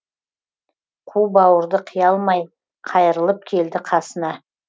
қу бауырды қия алмай қайрылып келді қасына